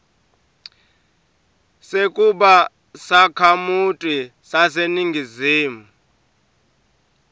sekuba sakhamuti saseningizimu